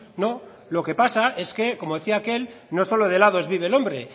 no lo que pasa es que como decía aquel no solo de helados vive el hombre